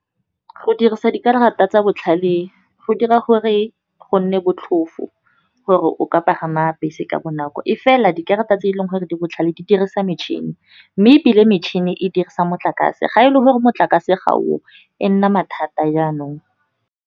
Go dirisa dikarata tsa botlhale go dira gore go nne botlhofo gore o ka pagama bese ka bonako. E fela dikarata tse e leng gore di botlhale di dirisa metšhini, mme ebile metšhini e dirisa motlakase. Ga e le gore motlakase ga o o e nna mathata jaanong.